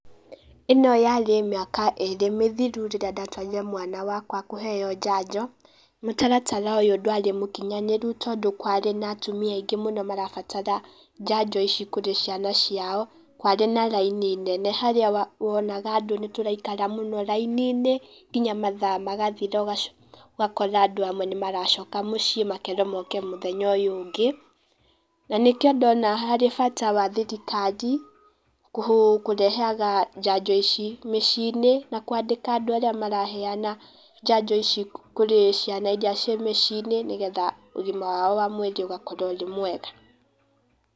Ĩno yarĩ mĩaka ĩrĩ mĩthiru rĩrĩa ndatwarĩre mwana wakwa kũheo njanjo, mũtaratara ũyũ ndwarĩ mũkinyanĩru tondũ kwarĩ na atumia aingĩ mũno marabatara njanjo ici kũrĩ ciana ciao, kwarĩ na raini nene harĩa wonaga andũ nĩ tũraikara mũno raini-inĩ, nginya mathaa magathira ũgakora andũ amwe nĩ maracoka mũciĩ makerwo moke mũthenya ũyũ ũngĩ. Na nĩkĩo ndona harĩ bata wa thirikari kũrehaga njanjo ici mĩciĩ-inĩ, na kwandĩka andũ arĩa maraheana njanjo ici kũrĩ ciana iria ciĩ mĩciĩ-inĩ nĩgetha ũgima wao wa mwĩrĩ ũgakorwo ũrĩ mwega.